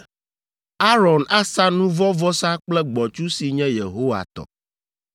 Aron asa nu vɔ̃ vɔsa kple gbɔ̃tsu si nye Yehowa tɔ.